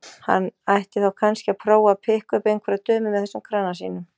Hann ætti þá kannski að prófa að pikka upp einhverjar dömur með þessum krana sínum.